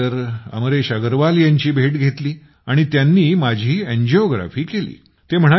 त्यानंतर अमरेश अग्रवाल यांची भेट घेतली आणि त्यांनी माझी एंजियोग्राफी केली